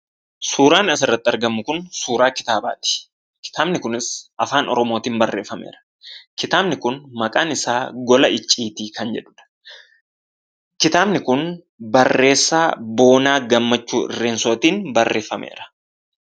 Suuraan asirratti argamu kun suuraa kitaabaati. Kitaabni kunis Afaan Oromootiin barreeffameera. Kitaabni kun mata-dureen isaa "Gola Icciitii " kan jedhuudha. Kitaabni kun barreessaa Boonaa Gammachuu Irreensootiin barreeffameera.